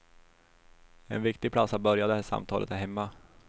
En viktig plats att börja det samtalet är hemma.